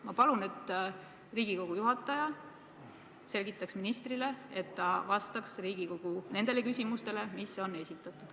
Ma palun, et Riigikogu juhataja selgitaks ministrile, et ta vastaks Riigikogu nendele küsimustele, mis on esitatud.